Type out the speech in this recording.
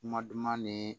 Kuma duman ni